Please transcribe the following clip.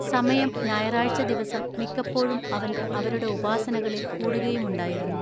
സമയം ഞായറാഴ്ച ദിവസം മിക്കപ്പോഴും അവൻ അവരുടെ ഉപാസനകളിൽ കൂടുകയുമുണ്ടായിരുന്നു.